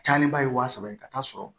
Cayalenba ye wa saba ye ka taa sɔrɔ